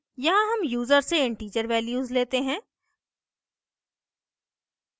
यहाँ हम यूज़र से integer values लेते हैं